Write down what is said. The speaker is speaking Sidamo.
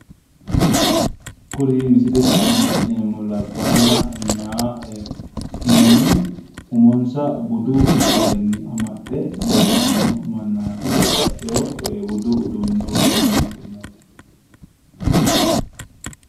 Kuri misilete aana la'neemmohu labbaanna mayi manni umonsa budu garinni amaxxe leellanno mannaati babbaxxeyo budu uduunneno woroonni uddire no